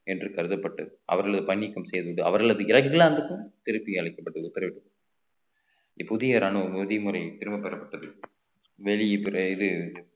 என்று கருதப்பட்டு அவர்களது பணிக்கும் சேர்ந்து அவர்களது இலகிலாந்துக்கும் திருப்பி அளிக்கப்பட்டு உத்தரவிடப்பட்டது புதிய ராணுவம் விதிமுறை திரும்பப் பெறப்பட்டது இது